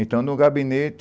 Então, no gabinete,